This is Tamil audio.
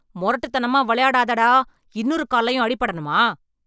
முரட்டுத்தனமா விளையாடதடா, இன்னொரு கால்லேயும் அடிபடணுமா?